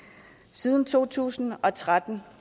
siden to tusind og tretten